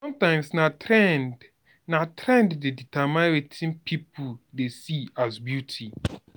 sometimes na trend na trend dey determine wetin pipo dey see as beauty